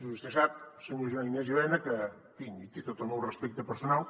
vostè sap senyor joan ignasi elena que tinc i té tot el meu respecte personal